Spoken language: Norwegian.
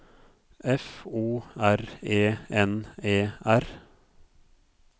F O R E N E R